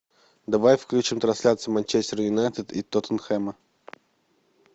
давай включим трансляцию манчестер юнайтед и тоттенхэма